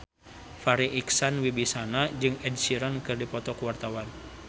Farri Icksan Wibisana jeung Ed Sheeran keur dipoto ku wartawan